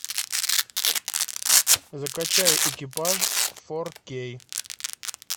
закачай экипаж фор кей